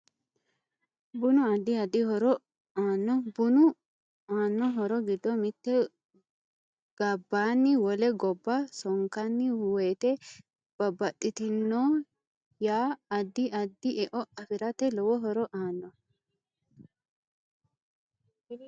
Bunu addi addi horo aanno bunu aanno horo giddo mitte gabbani wole gobba sonkkani woyiite babbaxitinoya addi adi e'o afirate lowo horo aanno